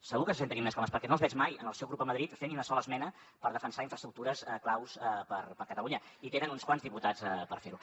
segur que se sentirien més còmodes perquè no els veig mai en el seu grup a madrid fent ni una sola esmena per defensar infraestructures claus per a catalunya i hi tenen uns quants diputats per fer ho